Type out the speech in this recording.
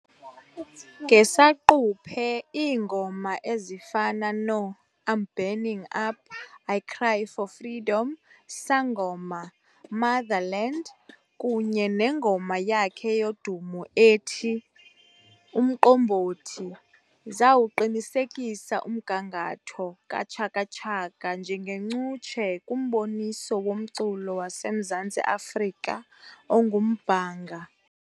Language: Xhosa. Ngesaquphe iingoma ezifana no"I'm Burning Up", "I Cry for Freedom", "Sangoma","Motherland" kunye nengoma yakhe yodumo ethi, "Umqombothi" zawuqinisekisa umgangatho kaChaka Chaka njengencutshe kumboniso womculo waseMzantsi Afrika ongumbhanga.